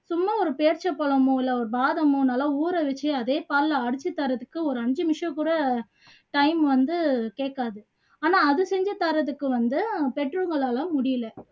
சும்மா ஒரு பேரீட்சை பழமோ இல்ல ஒரு பாதாமோ நல்லா ஊற வச்சு அதே பால்ல அடிச்சு தர்றதுக்கு ஒரு அஞ்சு நிமிஷம் கூட time வந்து கேக்காது ஆனா அது செஞ்சு தர்றதுக்கு வந்து பெற்றவங்களால முடியல